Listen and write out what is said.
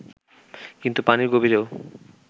কিন্তু পানির গভীরেও